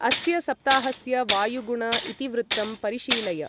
अस्य सप्ताहस्य वायुगुण इतिवृत्तं परिशीलय